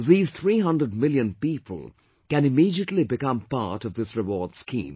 These 300 million people can immediately become part of this rewards scheme